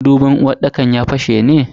Madubin uwarɗakar ya fashe ne?